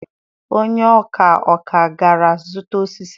onye-ọ̀kà-ọ̀kà gara zuta osisi.